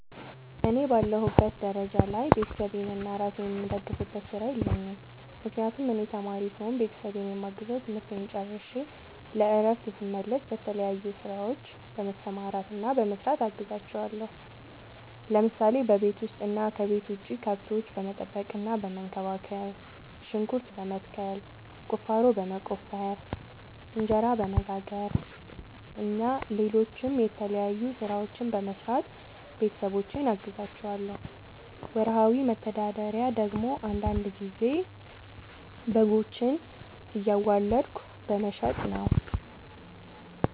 እኔ በአለሁበት ደረጃ ላይ ቤተሰቤንና እራሴን የምደግፍበት ስራ የለኝም። ምክንያቱም እኔ ተማሪ ስሆን ቤተሰቤን የማግዘው ትምህርቴን ጨርሸ ለእረፍት ስመለስ በተለያዩ ስራዎች በመሰማራትና በመስራት አግዛቸዋለሁ። ለምሳሌ፦ በቤት ውስጥ እና ከቤት ውጭ ከብቶች በመጠበቅና በመንከባከብ፣ ሽንኩርት በመትከል፣ ቁፋሮ በመቆፈር፣ እንጀራ በመጋገር እና ሌሎችም የተለያዩ ስራዎችን በመስራት ቤተሰቦቼን አግዛቸዋለሁ። ወርሃዊ መተዳደሪያ ደግሞ አንዳንድ ጊዜ በጎችን እያዋለድኩ በመሸጥ ነው።